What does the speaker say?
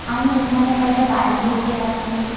আমি এখানে কয়টা বাড়ি দেখতে পাচ্ছি।